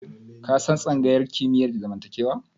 Ka san tsangayar kimiyyar zamantakewa?